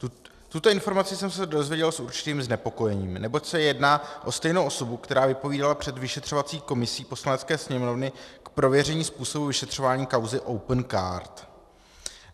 Tuto informaci jsem se dozvěděl s určitým znepokojením, neboť se jedná o stejnou osobu, která vypovídala před vyšetřovací komisí Poslanecké sněmovny k prověření způsobu vyšetřování kauzy Opencard.